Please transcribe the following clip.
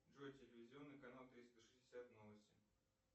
джой телевизионный канал триста шестьдесят новости